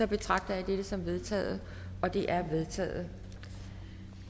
betragter jeg dette som vedtaget det er vedtaget